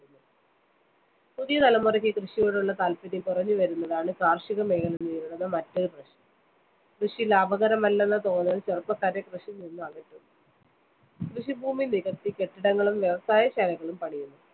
പുതിയ തലമുറയ്ക്ക് കൃഷിയോടുള്ള താല്‍പ്പര്യം കുറഞ്ഞുവരുന്നതാണ് കാര്‍ഷികമേഖല നേരിടുന്ന മറ്റൊരു പ്രശ്‌നം. കൃഷി ലാഭകരമല്ലെന്ന തോന്നല്‍ ചെറുപ്പക്കാരെ കൃഷിയില്‍നിന്ന് അകറ്റുന്നു. കൃഷിഭൂമി നികത്തി കെട്ടിടങ്ങളും വ്യവസായശാലകളും പണിയുന്നു.